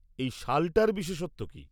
এই শালটার বিশেষত্ব কি?